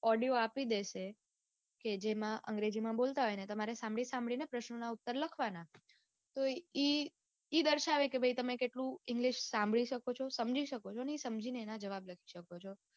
Audio આપી દેશે કે જેમાં અંગ્રેજી માં બોલતા હશે ને તમારે સાંભળી સાંભળીને ને પ્રસ્નો ના ઉત્તર લખવાના. તો ઈ ઈ દર્શાવે છે કે ભાઈ તમે કેટલું english સાંભળી શકો છો સમજી શકો છો ને ઈ સમજીને તેના જવાબ લખી શકો છો.